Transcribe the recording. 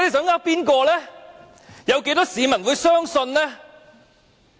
有多少市民會相信呢？